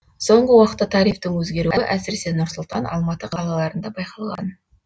соңғы уақытта тарифтің өзгеруі әсіресе нұр сұлтан алматы қалаларында байқалған